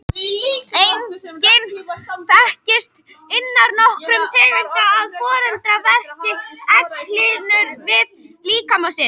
Einnig þekkist innan nokkurra tegunda að foreldri festi egghylkin við líkama sinn.